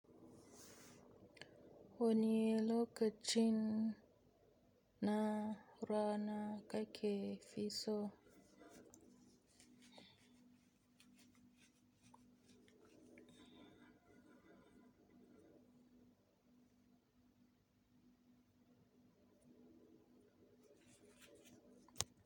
Wani lokacin na rana kai ke fi so.